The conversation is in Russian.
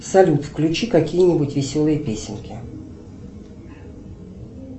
салют включи какие нибудь веселые песенки